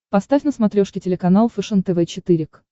поставь на смотрешке телеканал фэшен тв четыре к